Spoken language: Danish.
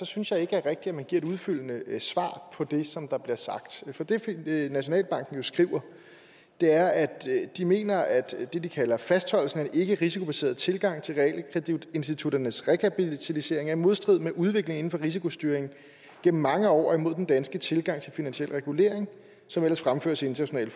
synes jeg ikke rigtig man giver et udfyldende svar på det som der bliver sagt for det det nationalbanken jo skriver er at de mener at det de kalder fastholdelsen af en ikkerisikobaseret tilgang til realkreditinstitutternes rekapitalisering er i modstrid med udviklingen inden for risikostyring gennem mange år og imod den danske tilgang til finansiel regulering som ellers fremføres i internationale